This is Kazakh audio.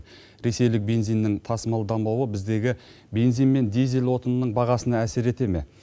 ресейлік бензиннің тасымалданбауы біздегі бензин мен дизель отынының бағасына әсер ете ме